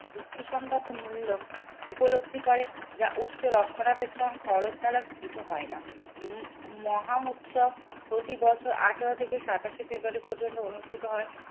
যুক্তিসঙ্গতমূল্য উপলব্ধি করে যা উচ্চ রক্ষারাবেক্ষণ খরচ দ্বারা স্থিত হয় না। উহ মহা উৎসব প্রতিবছর আঠারো থেকে সাতাশে ফেব্রুয়ারি পর্যন্ত অনুষ্ঠিত হয়।